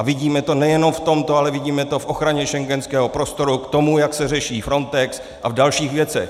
A vidíme to nejenom v tomto, ale vidíme to v ochraně schengenského prostoru, k tomu, jak se řeší Frontex, a v dalších věcech.